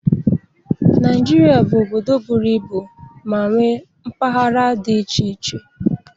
Naịjirịa bụ obodo buru ibu ma nwee mpaghara dị iche iche.